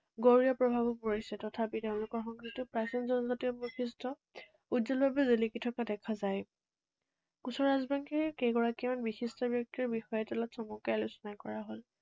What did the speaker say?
গৌৰ প্ৰভাৱো পৰিছে। তথাপি তেঁওলোকৰ সংস্কৃতি প্ৰাচীন জনজাতীয় বৈশিষ্ট্য উজ্জ্বলভাৱে জিলিকি থকা দেখা যায়। কোচ ৰাজবংশীৰ কেইগৰাকীমান বিশিষ্ট ব্যক্তিৰ বিষয়ে তলত চমুকৈ আলোচনা কৰা হল।